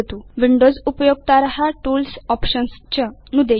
Windows उपयोक्तार tools options च नुदेयु